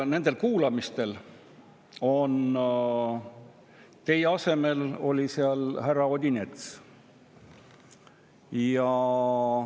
Nendel kuulamistel oli teie asemel härra Odinets.